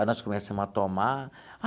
Aí nós começamos a tomar.